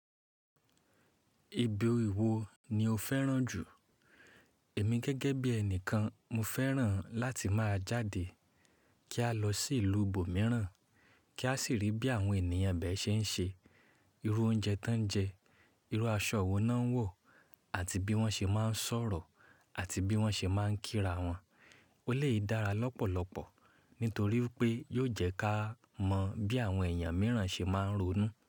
Ibi wo ni o fẹ́ràn jù? Èmi gẹ́gẹ́ bí ẹni kan, mo fẹ́ràn láti máa jáde kí a lọ sí ìlú ibo mìíràn, kí a sì rí bí àwọn ènìyàn ibẹ̀ ṣe ń ṣe, irú oúnjẹ tán jẹ, irú aṣọ wo náà ń wọ̀ àti bí wọ́n ṣe máa ń sọ̀rọ̀ àti bí wọ́n ṣe máa ń kí ra wọn. Eléyìí dára lọ́pọ̀lọpọ̀ nítorí pé yóò jẹ́ ká mọ bí àwọn èèyàn mìíràn ṣe máa ń ronú.